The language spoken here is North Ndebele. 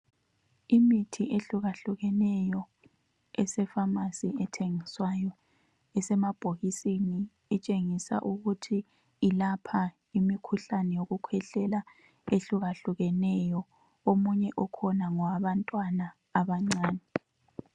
Imithi ehlukahlukeneyo eseFamasi ethengiswayo esemabhokisini, itshengisa ukuthi ilapha imikhuhlahle yokukhwehlela ehlukahlukeneyo. Omunye okhona ngowabantwana abancane.